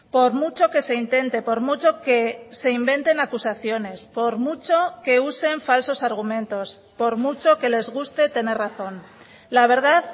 por mucho que se intente por mucho que se inventen acusaciones por mucho que usen falsos argumentos por mucho que les guste tener razón la verdad